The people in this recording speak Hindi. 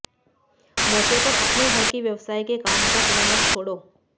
मौके पर अपने घर के व्यवसाय के काम का समय मत छोड़ो